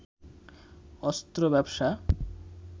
অস্ত্র ব্যবসা